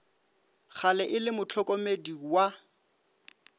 gale e le mohlokomedi wa